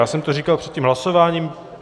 Já jsem to říkal před tím hlasováním.